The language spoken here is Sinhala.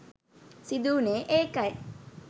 සිදුවුණේ ඒකයි